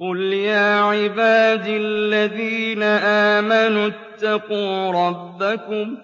قُلْ يَا عِبَادِ الَّذِينَ آمَنُوا اتَّقُوا رَبَّكُمْ ۚ